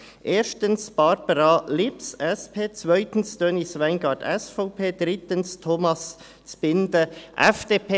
Erstens Barbara Lips, SP, zweitens Denise Weingart, SVP, drittens Thomas Zbinden, FDP.